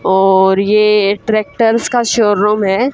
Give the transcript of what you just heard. और ये ट्रैक्टर्स का शोरूम है।